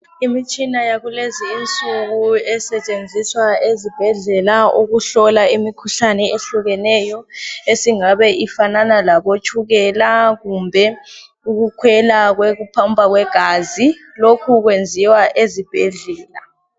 Imitshina yakulezinsuku esetshenziswa ezibhedlela ukuhlola imikhuhlane eyehlukeneyo esingabe ifanana labotshukela kumbe ukukhwela kokuphampa kwegazi. Lokhu kwenziwa ezibhedlela.